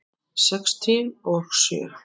Sextíu og sjö.